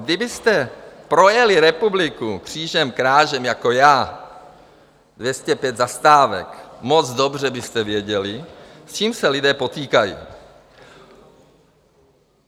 Kdybyste projeli republiku křížem krážem jako já, 205 zastávek, moc dobře byste věděli, s čím se lidé potýkají.